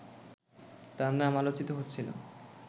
তাঁর নাম আলোচিত হচ্ছিল